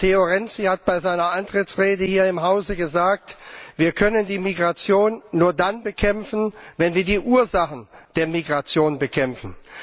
Matteo Renzi hat bei seiner Antrittsrede hier im Hause gesagt Wir können die Migration nur dann bekämpfen, wenn wir die Ursachen der Migration bekämpfen.